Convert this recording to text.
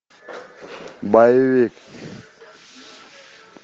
боевик